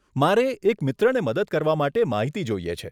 મારે એક મિત્રને મદદ કરવા માટે માહિતી જોઈએ છે.